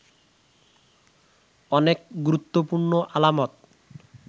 অনেক গুরুত্বপূর্ণ আলামত